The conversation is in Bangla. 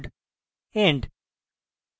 end